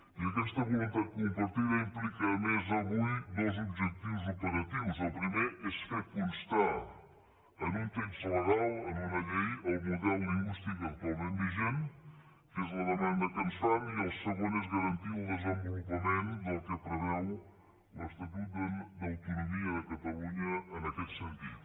i aquesta voluntat compartida implica a més avui dos objectius operatius el primer és fer constar en un text legal en una llei el model lingüístic actualment vigent que és la demanda que ens fan i el segon és garantir el desenvolupament del que preveu l’estatut d’autono·mia de catalunya en aquest sentit